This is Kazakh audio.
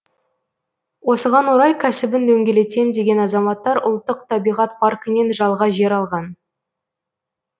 осыған орай кәсібін дөңгелетем деген азаматтар ұлттық табиғат паркінен жалға жер алған